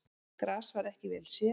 Gras var ekki vel séð.